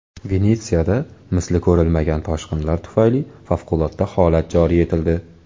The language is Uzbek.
Venetsiyada misli ko‘rilmagan toshqinlar tufayli favqulodda holat joriy etildi .